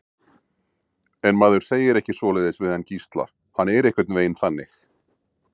En maður segir ekki svoleiðis við hann Gísla, hann er einhvern veginn þannig.